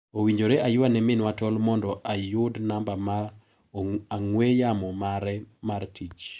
Owinjore ayua ne minwa tol mondo ayud namba mar ang'ue yamo mare mar tich.